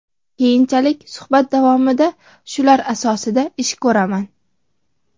Keyinchalik suhbat davomida shular asosida ish ko‘raman.